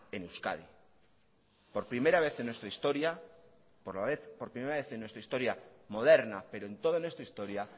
en euskadi por primera vez en nuestra historia moderna pero en toda nuestra historia